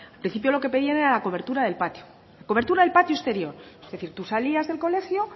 principio lo que pedían era la cobertura del patio cobertura del patio exterior es decir tú salías del colegio